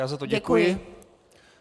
Já za to děkuji.